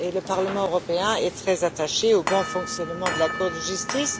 Le Parlement européen est très attaché au bon fonctionnement de la Cour de justice.